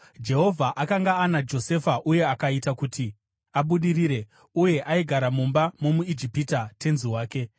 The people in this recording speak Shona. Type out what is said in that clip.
Jehovha akanga ana Josefa uye akaita kuti abudirire, uye aigara mumba momuIjipita, tenzi wake.